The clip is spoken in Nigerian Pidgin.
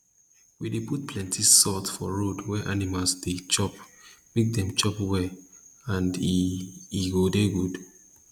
we dey put plenti salt for road wey animal dey chop make dem chop well and e e go dey good